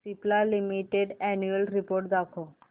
Cipla limited annual report दाखव